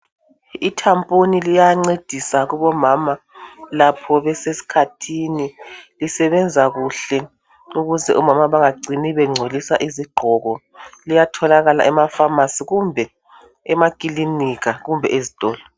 Ithaphuli liyancedisa kuba mama lapho besesikhathini lisebenza kuhle ukuze omama benga cini be ngcolisa izigqoko liyatholaka emafamasi, emaklinika kumbe ezitolo.